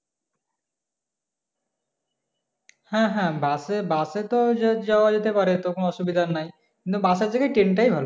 হ্যাঁ হ্যাঁ bus এ bus এ তো যাযাওয়া যেতে পারে তো কোনো অসুবিধা নেই কিন্তু bus এর জায়গায় train টাই ভালো